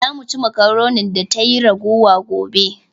"Za mu ci makaronin da tayi ragowa gobe